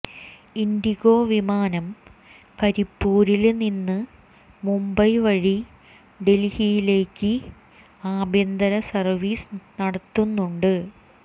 ഇന്ഡിഗോ വിമാനം കരിപ്പൂരില് നിന്ന് മുംബൈ വഴി ഡല്ഹിയിലേക്ക് ആഭ്യന്തര സര്വീസ് നടത്തുന്നുണ്ട്